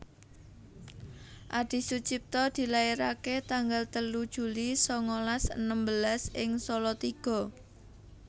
Adisucipto dilairake tanggal telu Juli sangalas enem belas ing Salatiga